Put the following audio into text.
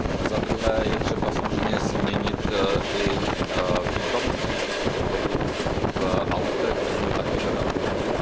Za druhé je třeba samozřejmě změnit i bezpečnostní výbavu v autech, k tomu je taky řada podnětů.